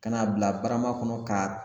Ka n'a bila barama kɔnɔ k'a